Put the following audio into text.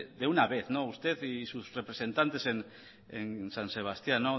de una vez usted y sus representantes en san sebastián